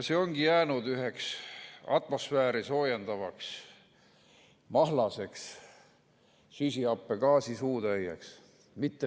See ongi jäänud üheks atmosfääri soojendavaks mahlaseks süsihappegaasi suutäieks.